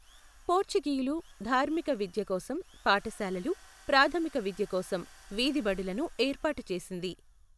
పోర్చుగీయులు ధార్మిక విద్య కోసం పాఠశాలలు, ప్రాథమిక విద్య కోసం వీధి బడులను ఏర్పాటు చేసింది.